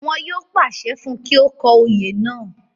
wọ́n pàṣẹ fún un kí ó kọ oyè náà